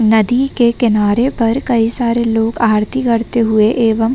नदी के किनारे पर कई सारे लोग आरती करते हुए एवं --